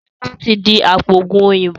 Sọlá tí di apoògùn òyìnbó